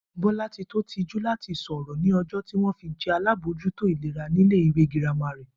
Bó̩látitó tijú láti sò̩rò̩ ní o̩jó̩ tí wó̩n fi je̩ alábòójútó ìlera ní ilé ìwé girama rè